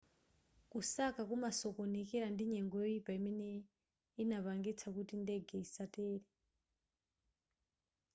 kusaka kunasokonekera ndi nyengo yoyipa imene inapangitsa kuti ndege isatere